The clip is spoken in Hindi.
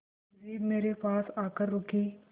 पुलिस जीप मेरे पास आकर रुकी